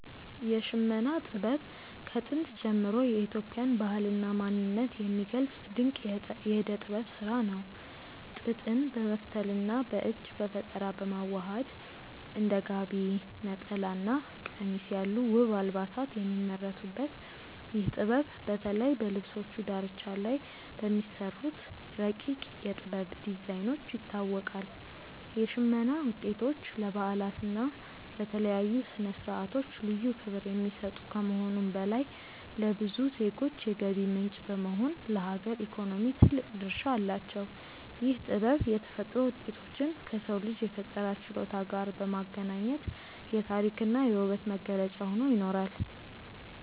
የሽመና ጥበብ ከጥንት ጀምሮ የኢትዮጵያን ባህልና ማንነት የሚገልጽ ድንቅ የእደ ጥበብ ስራ ነው። ጥጥን በመፍተልና በእጅ በፈጠራ በማዋሃድ እንደ ጋቢ፣ ነጠላና ቀሚስ ያሉ ውብ አልባሳት የሚመረቱበት ይህ ጥበብ፣ በተለይ በልብሶቹ ዳርቻ ላይ በሚሰሩት ረቂቅ የ"ጥበብ" ዲዛይኖች ይታወቃል። የሽመና ውጤቶች ለበዓላትና ለተለያዩ ስነ-ስርዓቶች ልዩ ክብር የሚሰጡ ከመሆኑም በላይ፣ ለብዙ ዜጎች የገቢ ምንጭ በመሆን ለሀገር ኢኮኖሚ ትልቅ ድርሻ አላቸው። ይህ ጥበብ የተፈጥሮ ውጤቶችን ከሰው ልጅ የፈጠራ ችሎታ ጋር በማገናኘት የታሪክና የውበት መገለጫ ሆኖ ይኖራል።